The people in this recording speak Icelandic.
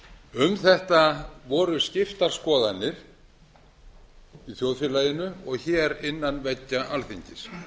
um þetta voru skiptar skoðanir í þjóðfélaginu og hér innan veggja alþingis